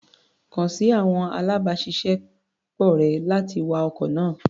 Kàn sí àwọn alábàáṣiṣẹ́ pọ̀ rẹ̀, láti wa ọkọ̀ náà.